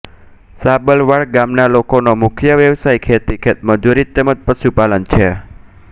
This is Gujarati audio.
સાબલવાડ ગામના લોકોનો મુખ્ય વ્યવસાય ખેતી ખેતમજૂરી તેમ જ પશુપાલન છે